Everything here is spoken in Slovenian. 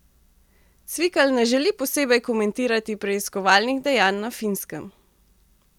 Cvikl ne želi posebej komentirati preiskovalnih dejanj na Finskem.